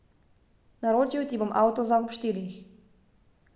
Naročil ti bom avto za ob štirih.